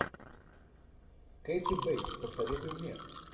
кэти бейтс посоветуй мне